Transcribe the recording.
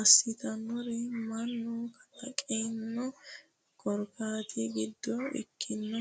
assitannori mannu kalaqino korkaatta giddo ikkinohu.